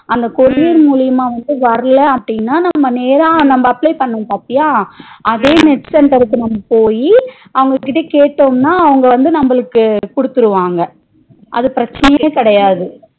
அந்த courier மூழியமா வந்து வரல அப்டின நம்ம நேரா apply பண்ண பாத்தியா அதே net center க்கு நம்ம போய் அவங்க கிட்ட கேட்டோம்னா அவங்க வந்து நம்மளுக்கு குடுத்துருவாங்க அது பிரச்சனையே கிடையாது